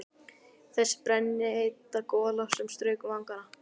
Þessi brennheita gola sem strauk um vangana!